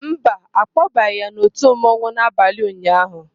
Mba, a kpọbaghị ya n'òtù mmanwụ n'abalị ụnyaahụ.